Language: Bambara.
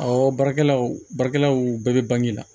Awɔ baarakɛlaw baarakɛlaw bɛɛ bɛ bange la